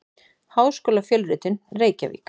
Háskólafjölritun: Reykjavík.